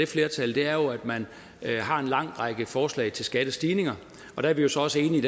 flertallet er at man har en lang række forslag til skattestigninger der er vi jo så også enige i